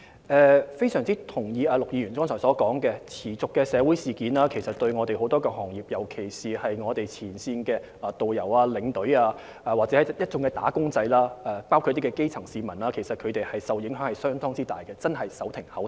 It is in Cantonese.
我非常同意剛才陸議員的意見，持續的社會事件其實令很多行業，尤其是旅遊業前線的導遊、領隊及一眾"打工仔"，還有基層市民，受到相當大的影響，他們真的是手停口停。